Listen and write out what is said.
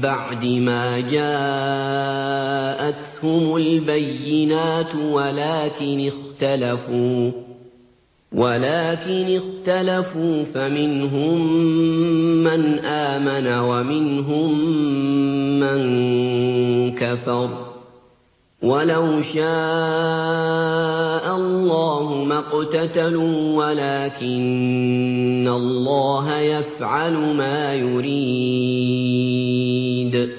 بَعْدِ مَا جَاءَتْهُمُ الْبَيِّنَاتُ وَلَٰكِنِ اخْتَلَفُوا فَمِنْهُم مَّنْ آمَنَ وَمِنْهُم مَّن كَفَرَ ۚ وَلَوْ شَاءَ اللَّهُ مَا اقْتَتَلُوا وَلَٰكِنَّ اللَّهَ يَفْعَلُ مَا يُرِيدُ